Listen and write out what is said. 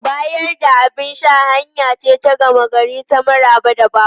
Bayar da abin sha hanya ce ta gama gari ta maraba da baƙo.